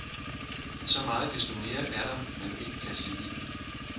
Men så meget desto mere er der, man ikke kan sige.